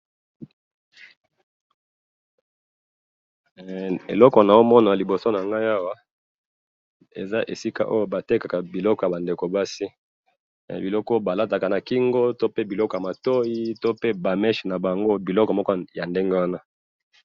eloko nazo mona liboso na ngai awa, eza esika oyo ba tekaka biloko ya ba ndeko basi, biloko oyo ba lataka na kingo, to pe biloko ya matoyi, to pe ba menche na bango, biloko moko ya ndenge wana